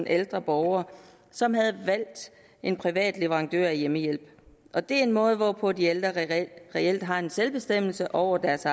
ældre borgere som havde valgt en privat leverandør af hjemmehjælp og det er en måde hvorpå de ældre reelt har selvbestemmelse over deres